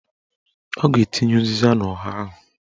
Ọ ga-etinye ụzịza n'ọha ahụ